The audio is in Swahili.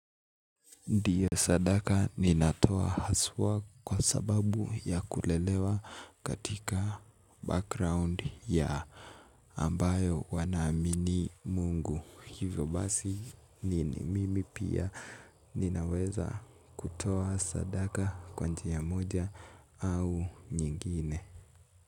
Ndiyo sadaka ninatoa haswa kwa sababu ya kulelewa katika background ya ambayo wanaamini Mungu hivyo basi nini mimi pia ninaweza kutoa sadaka kwa njia moja au nyingine.